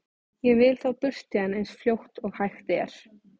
Ég vil þá burt héðan eins fljótt og hægt er.